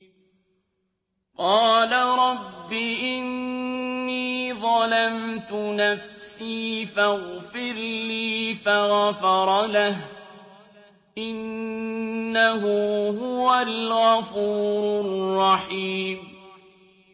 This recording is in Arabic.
قَالَ رَبِّ إِنِّي ظَلَمْتُ نَفْسِي فَاغْفِرْ لِي فَغَفَرَ لَهُ ۚ إِنَّهُ هُوَ الْغَفُورُ الرَّحِيمُ